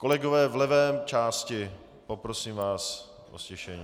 Kolegové v levé části, poprosím vás o ztišení.